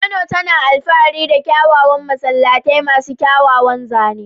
Kano tana alfahari da kyawawan masallatai masu kyawawan zane.